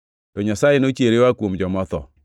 To Nyasaye nochiere oa kuom joma otho,